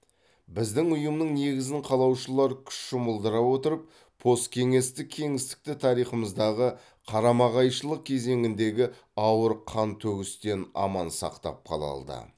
біздің ұйымның негізін қалаушылар күш жұмылдыра отырып посткеңестік кеңістікті тарихымыздағы қарама қайшылық кезеңіндегі ауыр қантөгістен аман сақтап қала алды